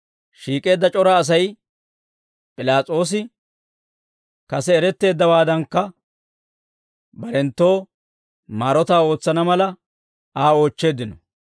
Shiik'eedda c'ora Asay P'ilaas'oosi kase erettowaadankka barenttoo maarotaa ootsana mala, Aa oochcheeddino.